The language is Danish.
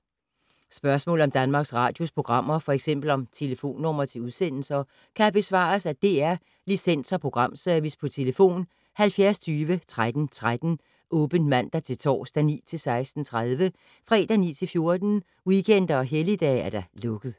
Spørgsmål om Danmarks Radios programmer, f.eks. om telefonnumre til udsendelser, kan besvares af DR Licens- og Programservice: tlf. 70 20 13 13, åbent mandag-torsdag 9.00-16.30, fredag 9.00-14.00, weekender og helligdage: lukket.